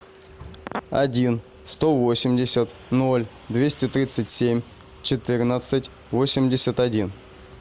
один сто восемьдесят ноль двести тридцать семь четырнадцать восемьдесят один